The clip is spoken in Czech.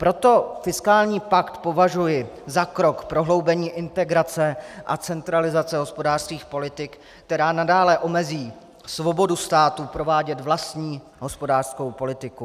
Proto fiskální pakt považuji za krok prohloubení integrace a centralizace hospodářských politik, která nadále omezí svobodu států provádět vlastní hospodářskou politiku.